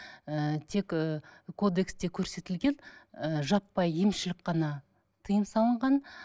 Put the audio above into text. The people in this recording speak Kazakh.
ыыы тек ы кодексте көрсетілген ы жаппай емшілік қана тыйым салынған